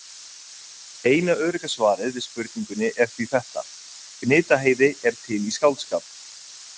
Eina örugga svarið við spurningunni er því þetta: Gnitaheiði er til í skáldskap.